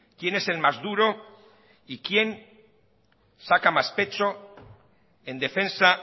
quién es el más duro y quién saca más pecho en defensa